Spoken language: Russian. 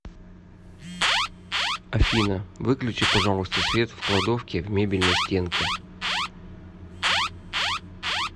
афина выключи пожалуйста свет в кладовке в мебельной стенке